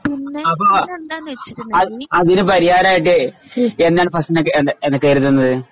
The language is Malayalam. അപ്പൊ അതി അതിന് പരിഹാരമായിട്ടേ എന്നാൽ ഫസ്‌നക്കേ എന്താ എ എന്നാൽ കരുതുന്നത്